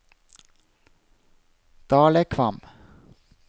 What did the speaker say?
Dalekvam